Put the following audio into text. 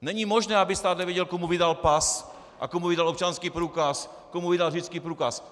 Není možné, aby stát nevěděl, komu vydal pas a komu vydal občanský průkaz, komu vydal řidičský průkaz.